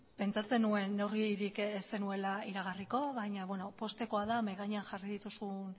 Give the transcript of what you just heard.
pentsatzen nuen neurririk ez zenuela iragarriko baina bueno poztekoa da mahai gainean jarri dituzun